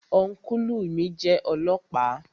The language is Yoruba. Ọ́nkùlù mi jẹ́ ọlọ́ọ̀pá